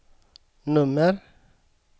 nummer